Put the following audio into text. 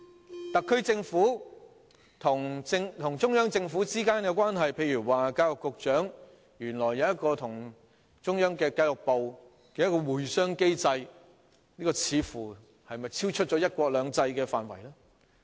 關於特區政府與中央政府之間的關係，例如教育局局長原來跟中央的教育部有一個"會商機制"，這是否超出"一國兩制"的範圍呢？